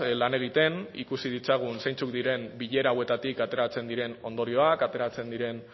lan egiten ikusi ditzagun zeintzuk diren bilera hauetatik ateratzen diren ondorioak ateratzen diren